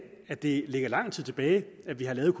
at det ligger lang tid tilbage da vi lavede